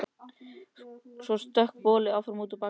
Svo stökk boli áfram út í Bakarí.